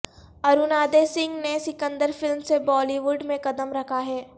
ارونادے سنگھ نے سکندر فلم سے Bollywood میں قدم رکھا ہے